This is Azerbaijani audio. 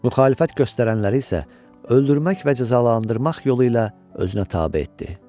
Müxalifət göstərənləri isə öldürmək və cəzalandırmaq yolu ilə özünə tabe etdi.